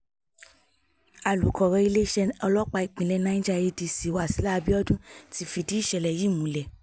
alūkọ̀rọ̀ iléeṣẹ́ ọlọ́pàá ìpínlẹ̀ niger adc wasila abiodun ti fìdí ìṣẹ̀lẹ̀ yìí múlẹ̀